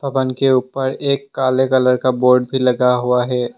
पवन के ऊपर एक काले कलर का बोर्ड भी लगा हुआ है।